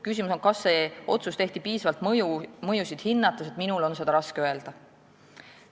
Küsimus on, kas see otsus tehti piisavalt mõjusid hinnates, minul on aga seda raske öelda.